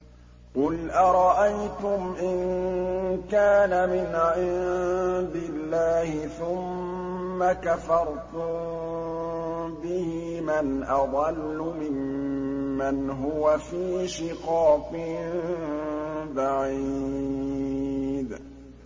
قُلْ أَرَأَيْتُمْ إِن كَانَ مِنْ عِندِ اللَّهِ ثُمَّ كَفَرْتُم بِهِ مَنْ أَضَلُّ مِمَّنْ هُوَ فِي شِقَاقٍ بَعِيدٍ